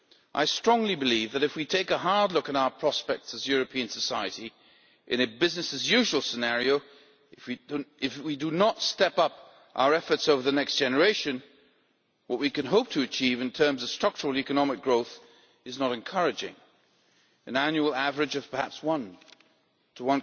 I strongly believe that if we take a hard look at our prospects as European society in a business as usual scenario, if we do not step up our efforts over the next generation, what we can hope to achieve in terms of structural economic growth is not encouraging an annual average of perhaps 1 to